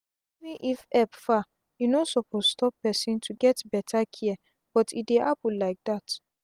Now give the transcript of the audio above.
even if epp far e no suppose stop pesin to get beta care but e dey happen lyk dat